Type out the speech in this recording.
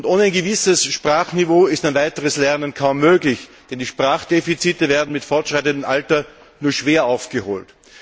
Und ohne ein gewisses Sprachniveau ist ein weiteres Lernen kaum möglich, denn die Sprachdefizite werden mit fortschreitendem Alter nur schwer aufgeholt.